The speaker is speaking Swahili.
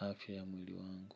afya ya mwili wangu.